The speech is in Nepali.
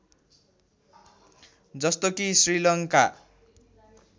जस्तो कि श्रीलङ्का